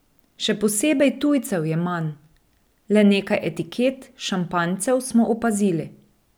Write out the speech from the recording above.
Še posebej tujcev je manj, le nekaj etiket šampanjcev smo opazili.